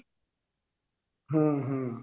ହୁଁ ହୁଁ